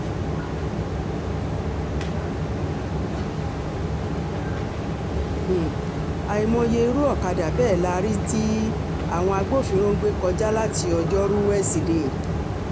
um àìmọye irú ọ̀kadà bẹ́ẹ̀ la rí tí um àwọn agbófinró ń gbé kọjá láti ọjọ́rùú wíṣọdẹẹ́